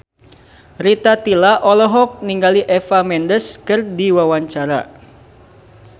Rita Tila olohok ningali Eva Mendes keur diwawancara